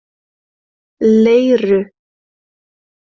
Leiru